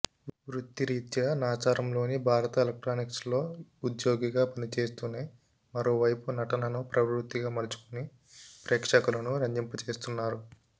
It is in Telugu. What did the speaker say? వృత్తిరీత్యా నాచారంలోని భారత ఎలక్ట్రానిక్స్లో ఉద్యోగిగా పని చేస్తూనే మరోవైపు నటనను ప్రవృత్తిగా మలచుకుని ప్రేక్షకులను రంజింపజేస్తున్నారు